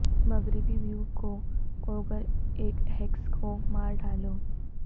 مغربی ویو کو کوگر ایک ہیکس کو مار ڈالو